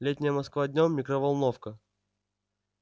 летняя москва днём микроволновка